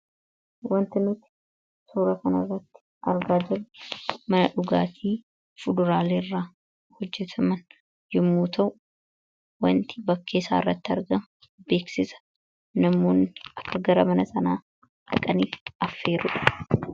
wanti nuti suura kanairratti argaa jirru mana dhugaatii fuduraale irraa hojjetaman yommuu ta'u wanti bakkeessaa irratti arga beeksisa namoonni akka gara mana sanaa dhaqaniii affeerudha.